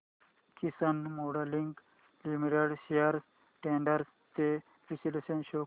किसान moulding limited shares trends चे विश्लेषण show कर